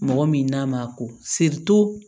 Mɔgɔ min n'a ma ko